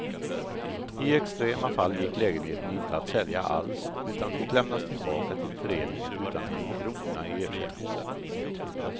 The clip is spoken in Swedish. I extrema fall gick lägenheten inte att sälja alls, utan fick lämnas tillbaka till föreningen utan en krona i ersättning.